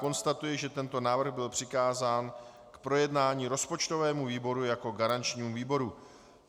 Konstatuji, že tento návrh byl přikázán k projednání rozpočtovému výboru jako garančnímu výboru.